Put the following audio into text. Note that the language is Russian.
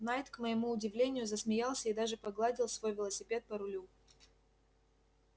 найд к моему удивлению засмеялся и даже погладил свой велосипед по рулю